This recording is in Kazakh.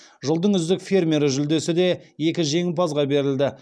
жылдың үздік фермері жүлдесі де екі жеңімпазға берілді